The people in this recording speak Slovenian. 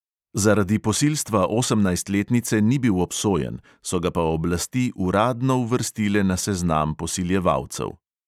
Zaradi posilstva osemnajstletnice ni bil obsojen, so ga pa oblasti uradno uvrstile na seznam posiljevalcev.